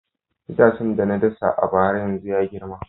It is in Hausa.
Itacen da na dasa a bara yanzu ya girma